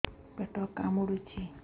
ପେଟ କାମୁଡୁଛି